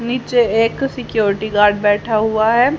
नीचे एक security guard बैठा हुआ है।